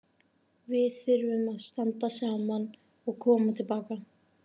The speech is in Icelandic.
Við þurfum að standa saman og koma til baka.